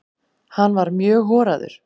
Hann var mjög horaður.